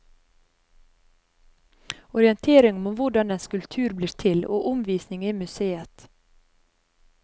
Orientering om hvordan en skulptur blir til og omvisning i museet.